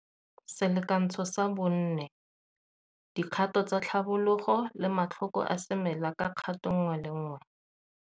Selakantsho sa 4. Dikgato tsa tlhabologo le matlhoko a semela ka kgato e nngwe le enngwe.